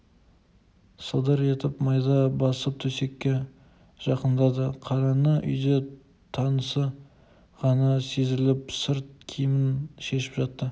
сылдыр етіп майда басып төсекке жакындады қаранғы үйде тынысы ғана сезіліп сырт киімін шешіп жатты